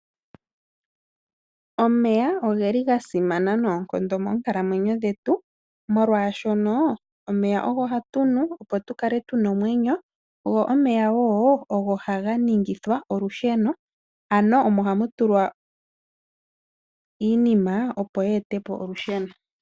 Omeya ogasimana noonkondo moonkalamwenyo dhetu molwaashoka omeya ogo hatunu tukale tuna omwenyo go omeya ogo haga ningithwa olusheno ano omo hamutulwa iinima opo yeetepo olusheno.